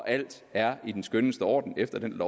alt er i den skønneste orden efter den